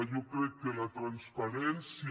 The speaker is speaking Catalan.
jo crec que la transparència